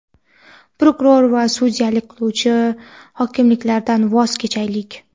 prokuror va sudyalik qiluvchi hokimlardan voz kechaylik.